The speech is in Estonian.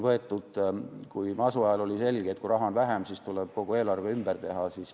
Masu ajal oli selge, et kui raha on vähem, siis tuleb kogu eelarve ümber teha.